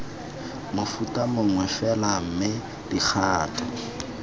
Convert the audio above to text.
mofuta mongwe fela mme dikgato